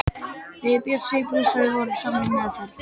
Við Bjössi blúsari vorum saman í meðferð.